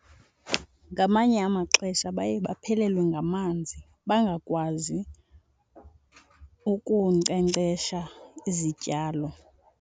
Ngamanye amaxesha baye baphelelwe ngamanzi bangakwazi ukunkcenkcesha izityalo.